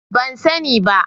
Ban sani ba.